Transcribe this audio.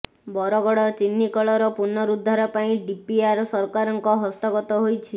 ବରଗଡ଼ ଚିନିକଳର ପୁନରୁଦ୍ଧାର ପାଇଁ ଡିପିଆର ସରକାରଙ୍କ ହସ୍ତଗତ ହୋଇଛି